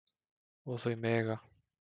Og þau mega